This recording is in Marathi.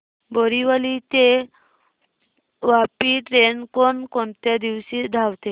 बोरिवली ते वापी ट्रेन कोण कोणत्या दिवशी धावते